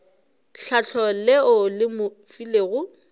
tlhahlo leo le mo filego